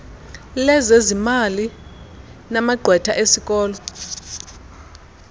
lezezimali namagqwetha esikolo